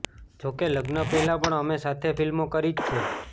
જોકે લગ્ન પહેલા પણ અમે સાથે ફ્લ્મિો કરી જ છે